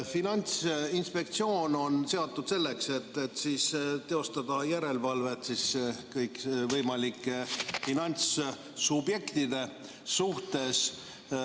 Finantsinspektsioon on seatud selleks, et teostada järelevalvet kõikvõimalike finantssubjektide üle.